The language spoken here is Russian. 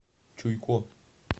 чуйко